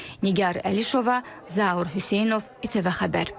Nigar Əlişova, Zaur Hüseynov, İTV Xəbər.